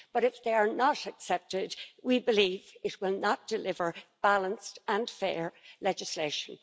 But, if they are not accepted, we believe it will not deliver balanced and fair legislation.